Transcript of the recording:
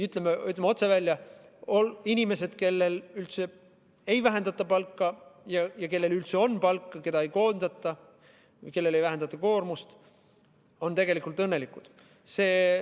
Aga ütleme otse välja, et inimesed, kellel ei vähendata palka ja kellel üldse on palk, ning inimesed, keda ei koondata või kellel koormust ei vähendata, on tegelikult õnnelikud.